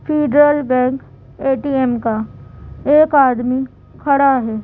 Federal Bank ATM का एक आदमी खड़ा है।